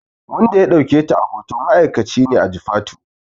Wanda ya ɗauke ta a hoto ma'aikaci ne a Jifatu ne